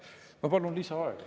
Ma palun lisaaega.